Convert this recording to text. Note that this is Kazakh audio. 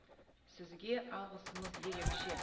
сізге алғысымыз ерекше